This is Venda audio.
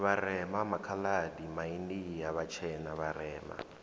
vharema makhaladi maindia vhatshena vharema